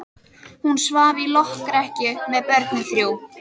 Hún svaf í lokrekkju með börnin þrjú.